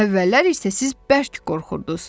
Əvvəllər isə siz bərk qorxurdunuz.